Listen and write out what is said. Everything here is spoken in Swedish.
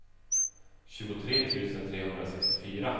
tjugotre tusen trehundrasextiofyra